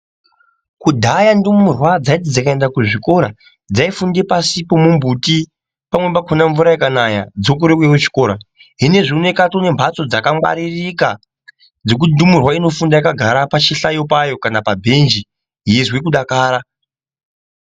Kudhaya ndumurwa dzayiti dzikaenda kuzvikoro dzaifunde pasi pomumbuti pamwe pakona mvura ikanaya dzokorere kuuye kuchikora hino zvinozvi kwaane mbatso dzakangwaririka dzokuti ndumurwa inofunde yakagara pachihlayo chayo kana pabhenji yeizwe kudakara.